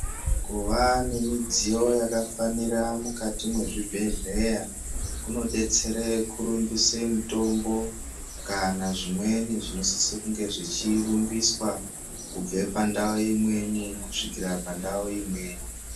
Kuva nemidziyo yakafanira mukati mezvibhedhleya, kunodetsere kurumbisa mutombo kana zvimweni zvinosisa kunge zvichirumbiswa kubva pandau imweni kusvikira pandau imweni.